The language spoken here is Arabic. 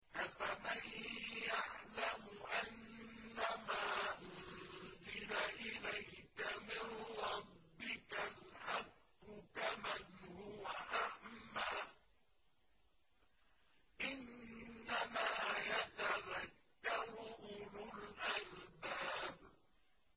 ۞ أَفَمَن يَعْلَمُ أَنَّمَا أُنزِلَ إِلَيْكَ مِن رَّبِّكَ الْحَقُّ كَمَنْ هُوَ أَعْمَىٰ ۚ إِنَّمَا يَتَذَكَّرُ أُولُو الْأَلْبَابِ